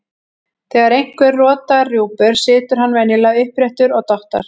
Þegar einhver rotar rjúpur situr hann venjulega uppréttur og dottar.